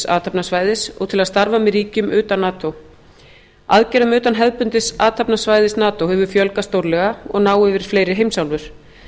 athafnasvæðis og til að starfa með ríkjum utan nato aðgerðum utan hefðbundins athafnasvæðis nato hefur fjölgað stórlega og ná yfir fleiri heimsálfur